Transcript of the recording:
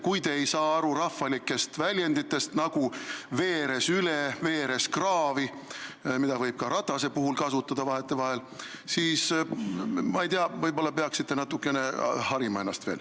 Kui te ei saa aru rahvalikest väljenditest, nagu "veeres üle", "veeres kraavi", mida võib vahetevahel ka ratta kohta kasutada, siis võib-olla peaksite ennast veel natukene harima.